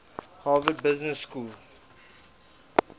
harvard business school